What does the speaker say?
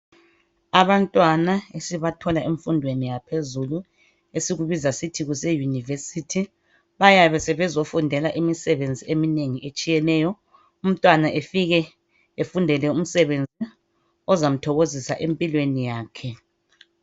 Abantwana esibathola emfundweni yaphezulu esikubiza sisithi kuse university bayabe sebezofundela imisebenzi eminengi etshiyeneyo. Umntwana efike efundele umsebenzi ozamthokozisa empilweni yakhe